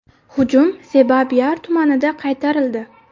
Hujum Sebaa-Biar tumanida qaytarildi.